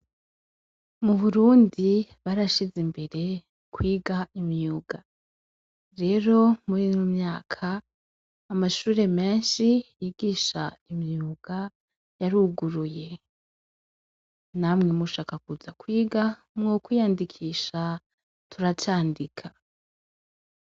Mu burundi barashize imbere kwiga imyuga. Rero muri uyu mwaka amashure menshi yigisha imyuga yaruguruye . Namwe mushaka kuza kwiga mwo kwiyandikisha turacandika.